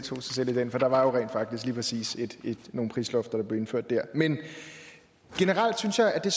sig selv i det for der var jo rent faktisk lige præcis nogle prislofter der blev indført der men generelt synes jeg at